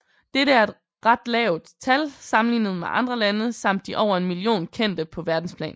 Dette er et ret lavt tal sammenlignet med andre lande samt de over en million kendte på verdensplan